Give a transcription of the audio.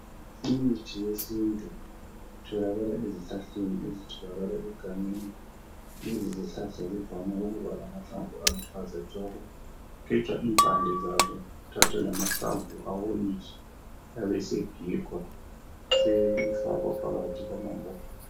Imithi yesintu itholakala ezihlahleni ezitholakala egangeni. Lezi zihlahla zivame ukuba lamahlamvu aluhlaza tshoko. Kugejwa impande zaso kuthathwe lama awonyiswe abesegigwa sefakwa phakathi kwamambodlela.